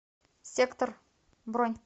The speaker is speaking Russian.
сектор бронь